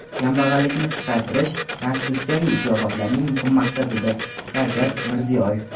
"Kambag‘allikni qisqartirish – konstitutsiyaviy islohotlarning muhim maqsadidir" — Shavkat Mirziyoyev.